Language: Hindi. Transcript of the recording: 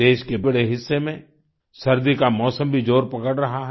देश के बड़े हिस्से में सर्दी का मौसम भी जोर पकड़ रहा है